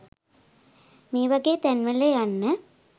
මේ වගේ තැන් වල යන්න